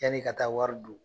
Yan'i ka taa wari don